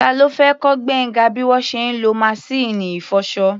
Ta ló fẹ́ kọ́ Gbénga bí wọ́n ṣe ń lo maṣíìnì ìfọṣọ?